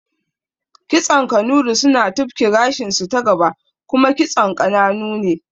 Kitson Kanuri suna tufki gashinsu ta gaba kuma kitson ƙananu ne